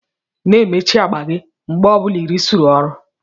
Na-emechi agba gi mgbe ọbula irusiri ọrụ